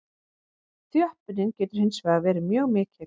Þjöppunin getur hins vegar verið mjög mikil.